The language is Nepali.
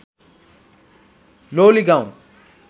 लोलीगाउँ